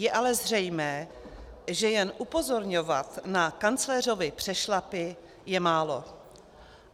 Je ale zřejmé, že jen upozorňovat na kancléřovy přešlapy je málo.